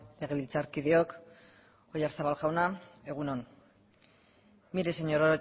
legebiltzarkideok oyarzabal jauna egun on mire señor